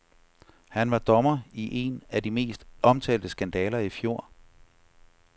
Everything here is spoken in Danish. Han var dommer i en af de mest omtalte skandaler i fjor.